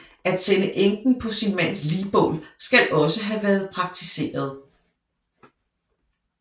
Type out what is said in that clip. At sende enken på sin mands ligbål skal også have været praktiseret